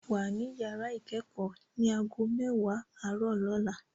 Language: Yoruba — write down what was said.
Wà ní yàrá ìkẹ́kọ̀ọ́ ní ago mẹwa àárọ̀ lọ́la